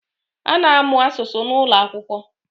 A na-amụ asụsụ n’ụlọakwụkwọ